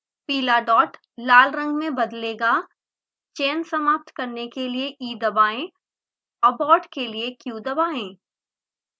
पीला डॉट लाल रंग में बदलेगा चयन समाप्त करने के लिए e दबाएँ abort के लिए q दबाएँ